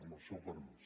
amb el seu permís